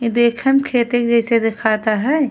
इ देखे में खेते जैसे दिखाता है।